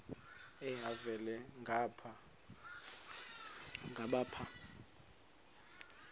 elhavela ngapha nangapha